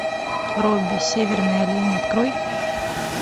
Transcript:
робби северный олень открой